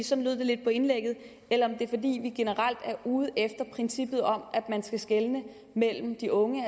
sådan lød det lidt på indlægget eller om det er fordi vi generelt er ude efter princippet om at man skal skelne mellem de unge